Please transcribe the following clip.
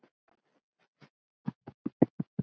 Klukkan er sjö!